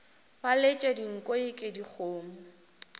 ba letša dinko eke dikgomo